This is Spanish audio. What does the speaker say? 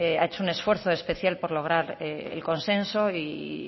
ha hecho un esfuerzo por lograr el consenso y